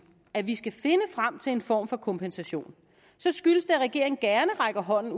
at vi skal finde frem til en form for kompensation skyldes det at regeringen gerne rækker hånden